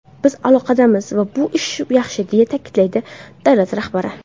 Biz aloqadamiz va bu yaxshi”, deya ta’kidladi davlat rahbari.